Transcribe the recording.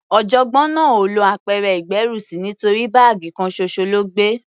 Ọ̀jọ̀gbọ́n náà ò lọ apẹ̀rẹ̀ ìgbérùsí nítorí báàgì kan ṣoṣo ló gbé.